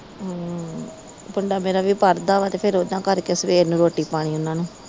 ਹਮ ਮੁੰਡਾ ਮੇਰਾ ਵੀ ਪੜ੍ਹਦਾ ਵਾ ਤੇ ਫਿਰ ਉਹ ਨਾ ਕਰਕੇ ਸਵੇਰ ਨੂੰ ਰੋਟੀ ਪਾਣੀ ਓਹਨਾ ਨੂੰ